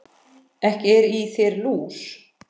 Ekki er í þér lús